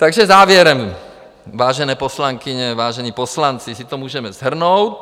Takže závěrem, vážené poslankyně, vážení poslanci, si to můžeme shrnout.